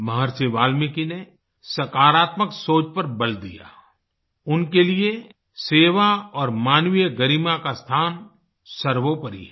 महर्षि वाल्मीकि ने सकारात्मक सोच पर बल दिया उनके लिए सेवा और मानवीय गरिमा का स्थान सर्वोपरी है